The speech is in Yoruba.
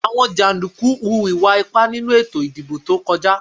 Àwọn jàndùkú hu ìwà ipá nínú ètò ìdìbò tó kọjá